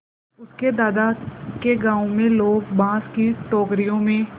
उसके दादा के गाँव में लोग बाँस की टोकरियों में